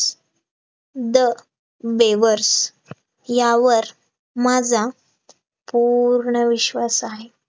the bravers यावर माझा पूर्ण विश्वास आहे